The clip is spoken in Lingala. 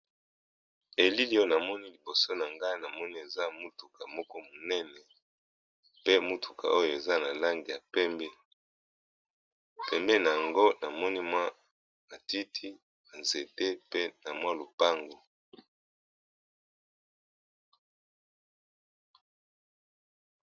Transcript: Elili oyo na moni liboso na ngai na moni eza mutuka moko monene. Pe mutuka oyo eza na langi ya pembe. Pembeni na yango na moni mwa matiti nzete pe na mwa lopango.